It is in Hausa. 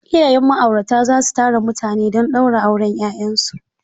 Iyayen ma'aurata za su tara mutane don ɗaura auren 'ya'yansu.